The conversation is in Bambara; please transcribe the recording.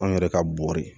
An yɛrɛ ka bo ye